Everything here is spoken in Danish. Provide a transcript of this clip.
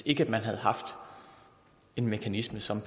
ikke havde haft en mekanisme som